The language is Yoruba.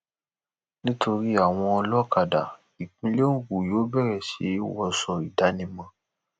nítorí àwọn olókàdá ìpínlẹ ogun yóò bẹrẹ sí í wọṣọ ìdánimọ